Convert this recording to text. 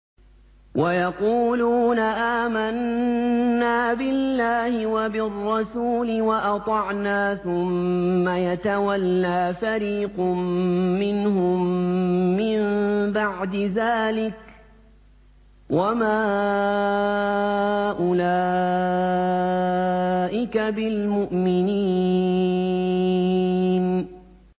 وَيَقُولُونَ آمَنَّا بِاللَّهِ وَبِالرَّسُولِ وَأَطَعْنَا ثُمَّ يَتَوَلَّىٰ فَرِيقٌ مِّنْهُم مِّن بَعْدِ ذَٰلِكَ ۚ وَمَا أُولَٰئِكَ بِالْمُؤْمِنِينَ